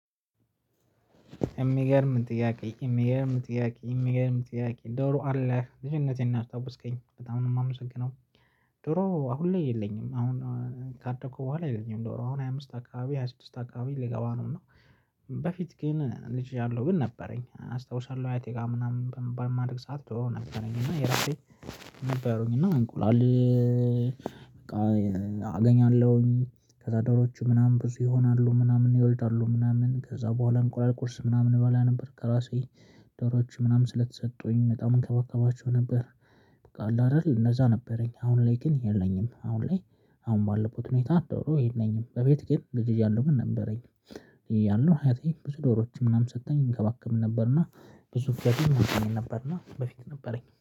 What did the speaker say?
የሚገርም ጥያቄ የሚገርም ጥያቄ የሚገርም ጥያቄ ዶሮ አለ ልጅነቴን አስታውስከኝ በጣም ነው የማመሰግነው። ዶሮ አሁን ላይ የለኝም አሁን ካደኩ በኋላ የለኝም። ዶሮ አሁን ሃያ አምስት አካባቢ ሃያ ስድስት አካባቢ ልገባ ነው። በፊት ግን ልጅ ያለው ግን ነበረኝ አስታውሻለሁ አያቴ ጋር ምናምን በማድግ ሰዓት ነበረኝ እና የራሴ ነበሩኝ እና እንቁላል። በቃ አገኛለሁኝ ከዛ ደሮቹ ምናምን ብዙ ይሆናሉ ምናምን ይወልዳሉ ምናምን ከዛ በኋላ እንቁላል ቁርስ ምናምን እበላ ነበር ከራሴ ደሮች ምናምን ስለተሰጡኝ በጣም እንከባከባቸው ነበር። በቃ አይደል እነዛ ነበረኝ አሁን ላይ ግን የለኝም አሁን ላይ። አሁን ማለት ነው ሁኔታ ደሮ የለኝም በፊት ግን ልጅ እያለሁ ግን ነበረኝ። ያለው አያቴ ብዙ ዶሮዎች ምናምን ሰጥቶኝ እንከባከብ ነበርና ብዙ ፍላጎት እንደሚመጣን ነበርና በፊት ነበረኝ